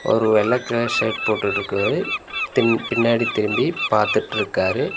அவரு வெள்ள colour shirt போட்டுட்ருக்கவரு பின் பின்னாடி திரும்பி பாத்துட்ருக்காரு.